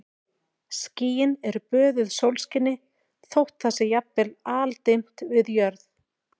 Skýin eru böðuð sólskini þótt það sé jafnvel aldimmt við jörð.